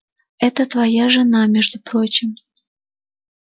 это твоя жена между прочим